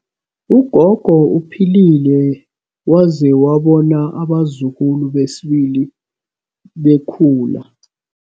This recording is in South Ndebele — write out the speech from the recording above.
Ugogo uphilile waze wabona abazukulu besibili bekhula.